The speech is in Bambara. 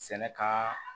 Sɛnɛ ka